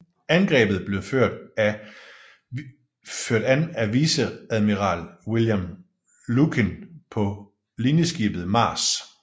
Angrebet blev ført an af viceadmiral William Lukin på linjeskibet Mars